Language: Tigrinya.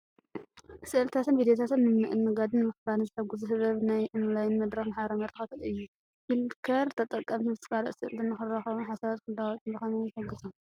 ስእልታትን ቪድዮታትን ንምእንጋድን ንምክፋልን ዝሕግዝ ህቡብ ናይ ኦንላይን መድረኽን ማሕበራዊ መራኸቢታትን እዩ። ፍሊከር ተጠቀምቲ ምስ ካልኦት ሰኣልቲ ንኽራኸቡን ሓሳባት ንኽለዋወጡን ብኸመይ ይሕግዞም?